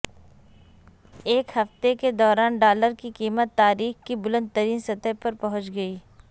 ایک ہفتے کے دوران ڈالر کی قیمت تاریخ کی بلند ترین سطح پر پہنچ گئی